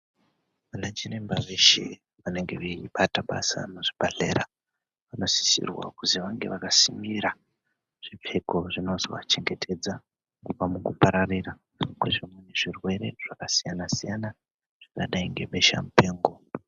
Vanachiremba veshe vanenge veibata basa muzvibhehlera vanosise kuti vange vamasimira zvipfeko zvinozova chengetedza kubva mukupararira kwezvirwere zvakasiyana siyana zvakadai ngebesha mupengo.